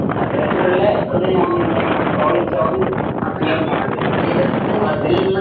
അത്തരത്തിലുള്ള മനസ്സിലാവും